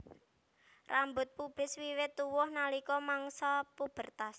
Rambut pubis wiwit tuwuh nalika mangsa pubertas